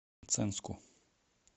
мценску